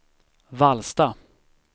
Vallsta